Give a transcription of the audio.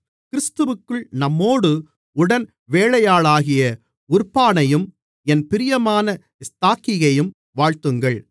கிறிஸ்துவிற்குள் நம்மோடு உடன்வேலையாளாகிய உர்பானையும் என் பிரியமான ஸ்தாக்கியையும் வாழ்த்துங்கள்